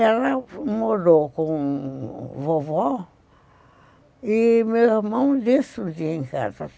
Ela morou com o vovó e meu irmão desce o dia em casa.